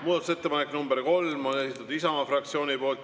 Muudatusettepanek nr 3 on esitatud Isamaa fraktsiooni poolt.